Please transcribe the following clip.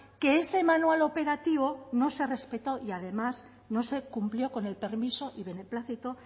que ese manual operativo no se ha respetado y además no se cumplió con el permiso y beneplácito